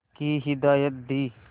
की हिदायत दी